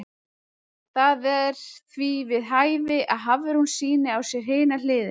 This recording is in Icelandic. Það er því við hæfi að Hafrún sýni á sér hina hliðina.